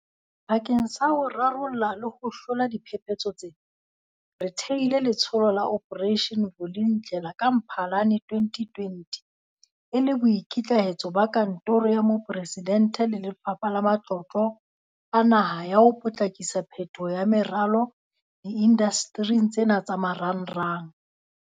Bakeng sa ho rarolla le ho hlola diphephetso tsena, re thehile Letsholo la Operation Vulindlela ka Mphalane 2020 e le boikitlahetso ba Kantoro ya Moporesidente le Lefapha la Matlotlo a Naha ba ho potlakisa phetoho ya meralo diindastering tsena tsa marangrang.